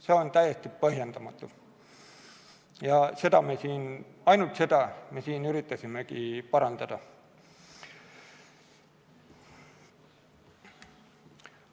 See on täiesti põhjendamatu ja ainult seda me siin üritasimegi parandada.